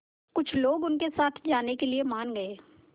कुछ लोग उनके साथ जाने के लिए मान गए